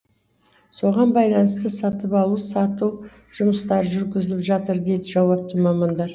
соған байланысты сатып алу сату жұмыстары жүргізіліп жатыр дейді жауапты мамандар